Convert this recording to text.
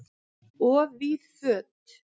Of víð föt